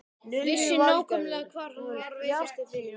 Vissi nákvæmlega hvar hann var veikastur fyrir.